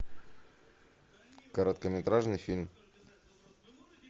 короткометражный фильм